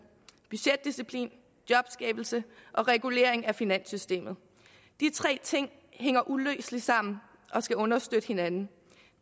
budgetdisciplin jobskabelse og regulering af finanssystemet de tre ting hænger uløseligt sammen og skal understøtte hinanden